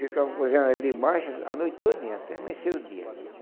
Ficamos cozinhando ali embaixo a noite todinha e até amanhecer o dia.